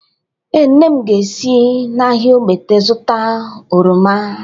Ee, nne m ga-esi n’ahịa Ogbete zụta oroma?